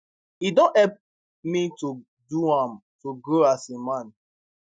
e don help me to do am to grow as a man